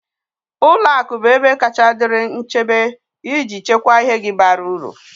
Ụlọ akụ bụ ebe kacha dịrị nchebe iji chekwaa ihe gi bara uru